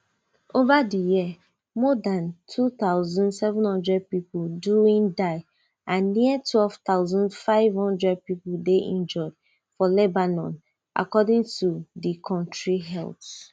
over di year more dan two thousand, seven hundred pipo doin die and near twelve thousand, five hundred pipo dey injured for lebanon according to di kontri health ministry